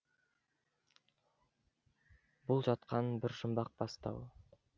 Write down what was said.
бұл жатқан бір жұмбақ бастау